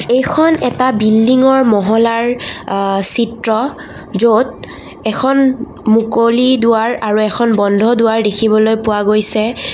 এইখন এটা বিল্ডিংৰ মহলাৰ আ চিত্ৰ য'ত এখন মুকলি দুৱাৰ আৰু এখন বন্ধ দুৱাৰ দেখিবলৈ পোৱা গৈছে।